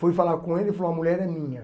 Fui falar com ele e falou, a mulher é minha.